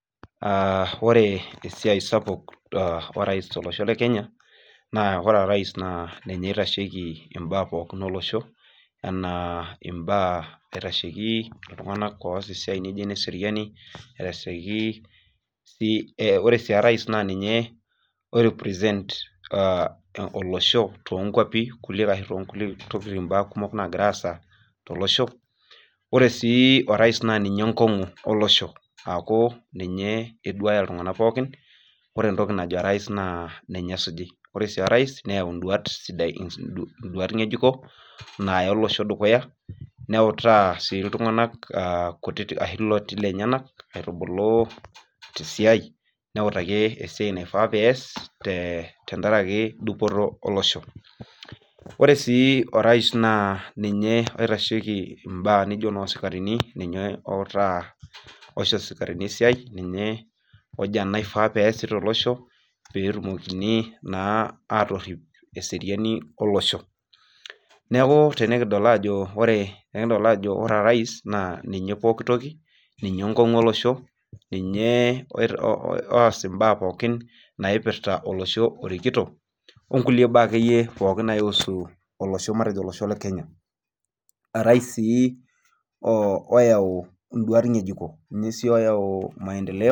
Ore esiai sapuk orais tolosho le Kenya naa ore orais naa ninye oitashiki imbaak pookin olosho, enaa imbaak aitasheiki iltung'anak oos imbaak naijo ineseriani, aitashiki sii, ore sii orais naa ninye oi represent olosho toonkwapi kulie ashu toonkulie tokiting, imbaak kumok naagira aasa tolosho. Ore sii orais naa ninye enkong'u olosho aakj ninye eduaya iltung'anak pooikin. Ore entoki najo orais naa ninye esuji. Ore sii orais neyau induat ng'ejuko naaya olosho dukuya neutaa sii iltung'anak kutiti ashu ilooti lenyenak aitubulu tesiai neutaki esiai naifaa pees tenkaraki dupoto olosh. Ore sii orais naa ninye oitashiki imbaak nijo inoosikarini, ninye outaa, oisho isikarini esiai, ninye ojo enaifaa peesi tolosho pee etumokini naa atorrip eseriani olosho. Neeku tenekidol aajo ore, tenekidol orais ajo ninye pooki toki, ninye enkong'u olosho, ninye oas imbaak pookin naipirta olosho orikito, o nkulie baak akeyie pooki naiusu, matejo olosho le Kenya. Orais sii oyau induat ng'ejuko, ninye sii oyau maendeleo